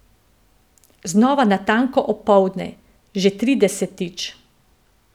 Znova natanko opoldne, že tridesetič.